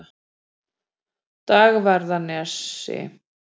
Dagverðarnesi